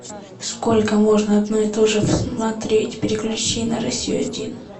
сколько можно одно и тоже смотреть переключи на россию один